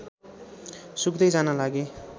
सुक्दै जान लागे